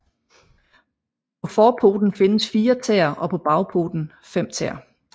På forpoten findes fire tæer og på bagpoten fem tæer